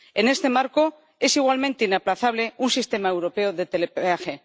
En este marco es igualmente inaplazable un sistema europeo de telepeaje.